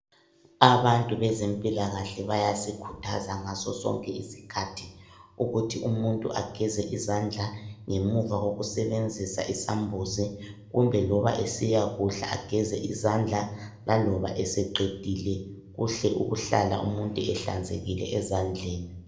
Abantu bezempilakahle bayasikhuthaza ngasosonke isikhathi ukuthi umuntu ageze izandla ngemuva kokusebenzisa isambuzi kumbe loba esiyakudla ageze izandla laloba eseqedile Kuhle ukuhlala umuntu ehlanzekileyo ezandleni.